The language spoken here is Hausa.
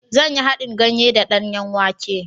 Zan yi haɗin ganye da danyen wake.